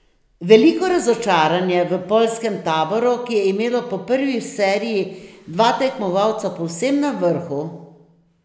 Veliko razočaranje v poljskem taboru, ki je imelo po prvi seriji dva tekmovalca povsem na vrhu.